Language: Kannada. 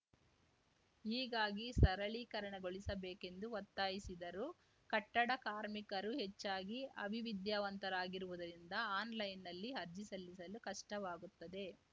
ಹೀಗಾಗಿ ಸರಳೀಕರಣಗೊಳಿಸಬೇಕೆಂದು ಒತ್ತಾಯಿಸಿದರು ಕಟ್ಟಡ ಕಾರ್ಮಿಕರು ಹೆಚ್ಚಾಗಿ ಅವಿವಿದ್ಯಾವಂತರಾಗಿರುವುದರಿಂದ ಆನ್‌ಲೈನ್‌ನಲ್ಲಿ ಅರ್ಜಿ ಸಲ್ಲಿಸಲು ಕಷ್ಟವಾಗುತ್ತದೆ